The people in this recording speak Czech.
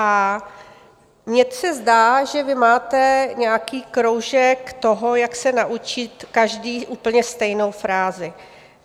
A mně se zdá, že vy máte nějaký kroužek toho, jak se naučit každý úplně stejnou frázi.